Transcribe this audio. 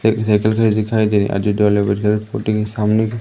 एक साइकिल खड़ी दिखाई दे रही है स्कूटी के सामने ही--